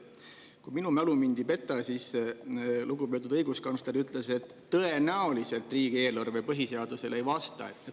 Kui mu mälu mind ei peta, siis ütles lugupeetud õiguskantsler seda, et tõenäoliselt riigieelarve põhiseadusele ei vasta.